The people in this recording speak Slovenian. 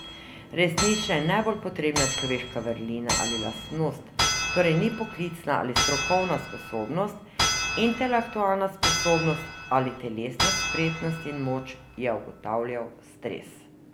Resnična in najbolj potrebna človeška vrlina ali lastnost torej ni poklicna ali strokovna sposobnost, intelektualna sposobnost ali telesna spretnost in moč, je ugotavljal Stres.